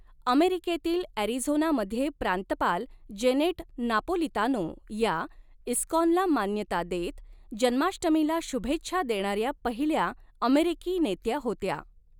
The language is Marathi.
अमेरिकेतील अॅरिझोनामध्ये प्रांतपाल जेनेट नापोलितानो या, इस्काॅनला मान्यता देत जन्माष्टमीला शुभेच्छा देणाऱ्या पहिल्या अमेरिकी नेत्या होत्या.